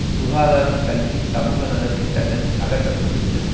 சுகாதாரம் கல்வி சமுக நலன் திட்டங்கள் அகற்ற பட்டு விட்டன